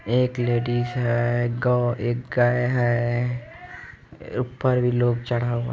एक लेडिस है। गो एक गाय है। ऊपर भी लोग चढ़ा हुआ --